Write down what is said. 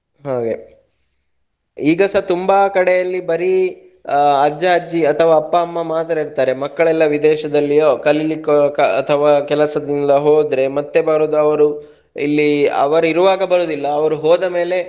ಹಾಗೆ ಈಗಸಾ ತುಂಬಾ ಕಡೆಯಲ್ಲಿ ಬರಿ ಅಜ್ಜ ಅಜ್ಜಿ ಅಥವಾ ಅಪ್ಪ ಅಮ್ಮ ಮಾತ್ರ ಇರ್ತಾರೆ ಮಕ್ಕಳೆಲ್ಲಾ ವಿದೇಶದಲ್ಲಿಯೋ ಕಲಿಲಿಕ್ಕೆ ಅಂತ ಅಥವಾ ಕೆಲಸದಿಂದ ಹೋದ್ರೆ ಮತ್ತೆ ಬರೋದು ಇಲ್ಲಿ ಅವ್ರು ಇರುವಾಗ ಬರೋದಿಲ್ಲ ಅವ್ರು ಹೋದ ಮೇಲೆ